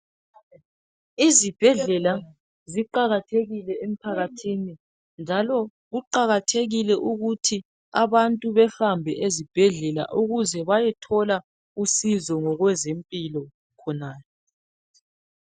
izibhedlela ziqakathekile emphakathini njalo kuqakathekile ukuthi abantu behambe ezibhedlela ukuze bayethola usizo ngokwezempilo khonale